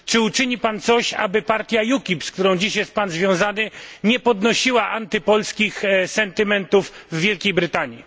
Czy uczyni Pan coś, aby partia UKIP, z którą jest Pan dziś związany, nie podnosiła antypolskich sentymentów w Wielkiej Brytanii?